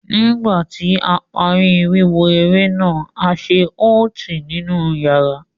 Nígbà tí a parí wíwo eré náà, a ṣe ótì ninu wààrà.